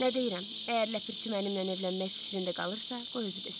Nə deyirəm, əgər Ləpirçi mənimlə evlənmək fikrində qalırsa, qoy özü desin.